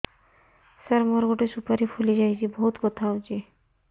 ସାର ମୋର ଗୋଟେ ସୁପାରୀ ଫୁଲିଯାଇଛି ବହୁତ ବଥା ହଉଛି